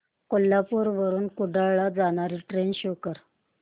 कोल्हापूर वरून कुडाळ ला जाणारी ट्रेन शो कर